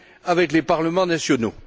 avec les parlements nationaux.